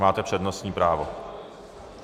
Máte přednostní právo.